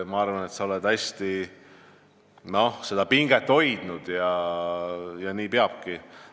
Ma arvan, et sa oled hästi seda pinget hoidnud ja nii peabki.